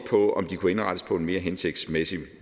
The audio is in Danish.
på om de kunne indrettes på en mere hensigtsmæssig